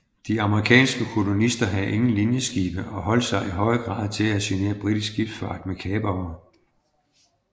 De amerikanske kolonister havde ingen linjeskibe og holdt sig i høj grad til at genere britisk skibsfart med kapere